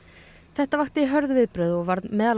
þetta vakti hörð viðbrögð og varð meðal